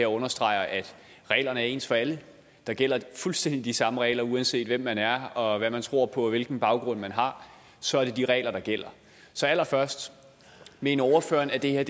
understreger at reglerne er ens for alle der gælder fuldstændig de samme regler uanset hvem man er og hvad man tror på og hvilken baggrund man har så er det de regler der gælder så allerførst mener ordføreren at det her er